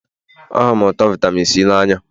Ahụrụ m ụtọ vitamin C n'anya